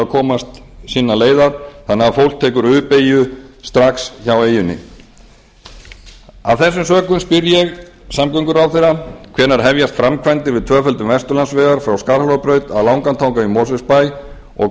komast sinnar leiðar þannig að fólk tekur u beygju strax hjá eyjunni af þessum sökum spyr ég samgönguráðherra hvenær hefjast framkvæmdir við tvöföldun vesturlandsvegar frá skarhólabraut að langatanga í mosfellsbæ og